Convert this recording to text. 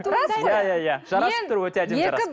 рас қой иә иә иә жарасып тұр өте әдемі